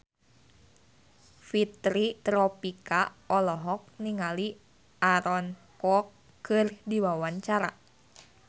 Fitri Tropika olohok ningali Aaron Kwok keur diwawancara